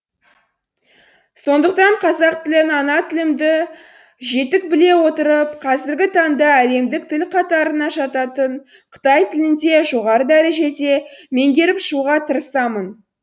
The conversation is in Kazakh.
сондықтан қазақ тілін ана тілімді жетік біле отырып қазіргі таңда әлемдік тіл қатарына жататын қытай тілін де жоғары дәрежеде меңгеріп шығуға тырысамын